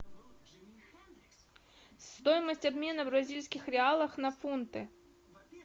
стоимость обмена бразильских реалов на фунты